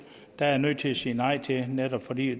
er jeg nødt til at sige nej til netop fordi